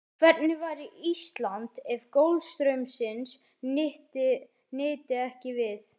Hvernig væri Ísland ef golfstraumsins nyti ekki við?